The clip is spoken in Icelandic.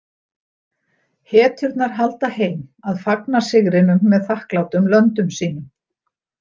Hetjurnar halda heim að fagna sigrinum með þakklátum löndum sínum.